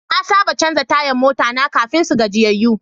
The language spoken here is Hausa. Na saba canza tayan mota na kafin su gajiyayyu.